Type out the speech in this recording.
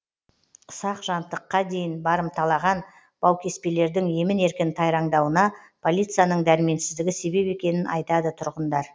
ұсақ жантыққа дейін барымталаған баукеспелердің емін еркін тайраңдауына полицияның дәрменсіздігі себеп екенін айтады тұрғындар